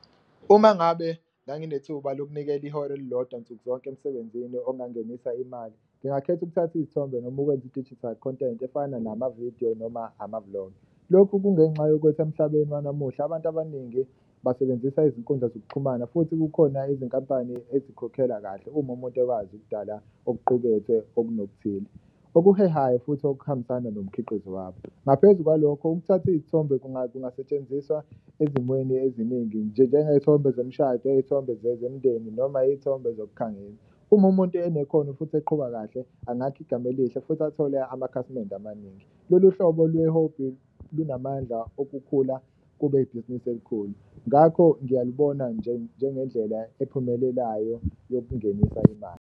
Uma ngabe nganginethuba lokunikela ihora elilodwa nsuku zonke emsebenzini ongangenisa imali, ngingakhetha ukuthatha iy'thombe noma ukwenza i-digital content efana namavidiyo noma amavulogi. Lokhu kungenxa yokuthi emhlabeni wanamuhla abantu abaningi basebenzisa izinkundla zokuxhumana futhi kukhona izinkampani ezikhokhela kahle uma umuntu ekwazi ukudala okuqukethwe okunokuthile, okuhehayo futhi okuhambisana nomkhiqizo wabo. Ngaphezu kwalokho, ukuthatha iy'thombe kungasetshenziswa ezimweni eziningi njengey'thombe zemshado, iy'thombe zemndeni noma iy'thombe zokukhangisa. Uma umuntu enekhono futhi eqhuba kahle angakha igama elihle futhi athole amakhasimende amaningi, lolu hlobo lwehobhi lunamandla okukhula kube ibhizinisi elikhulu. Ngakho ngiyalubona njengendlela ephumelelayo yokungenisa imali.